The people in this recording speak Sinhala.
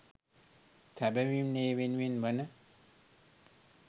සැබැවින්ම ඒ වෙනුවෙන් වන